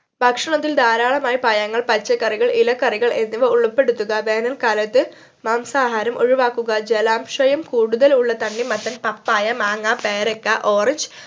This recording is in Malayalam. ഭക്ഷണത്തിൽ ധാരാളമായി പഴങ്ങൾ പച്ചക്കറികൾ ഇലക്കറികൾ എന്നിവ ഉൾപ്പെടുത്തുക വേനല്‍ക്കാലത്ത് മാംസാഹാരം ഒഴിവാക്കുക ജലാംശയം കൂടുതൽ ഉള്ള തണ്ണിമത്തൻ പപ്പായ മാങ്ങ പേരക്ക ഓറഞ്ച്